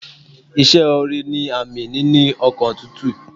Ìse ore ni àmì níní ọkàn tútù